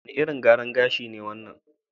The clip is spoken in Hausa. Wane irin gyaran gashi ne wannan?